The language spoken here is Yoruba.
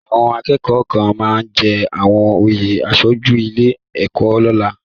Àwọn akẹ́kọ̀ọ́ kan máa jẹ àwọn oyè aṣojú ilé ẹ̀kọ́ lọ́la.